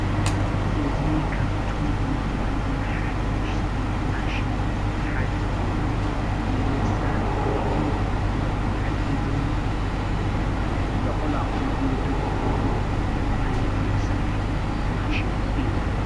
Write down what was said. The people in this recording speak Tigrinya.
እዚ ካብቶም ብሉፃትን ሓደሽቲን ማሽን ሓደ ኮይኑ ንመሳርሒ ዓፂድን ሎቕላቕን እንጥቀመሉ ዓይነት መሳርሒ ማሽን እዩ።